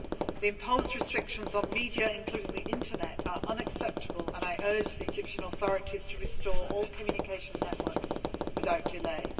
The imposed restrictions on media, including the Internet, are unacceptable and I urge the Egyptian authorities to restore all communication networks without